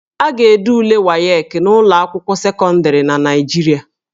A ga-ede ule WAEC n'ụlọ akwụkwọ sekọndịrị na Naịjirịa